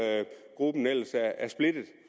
at gruppen er splittet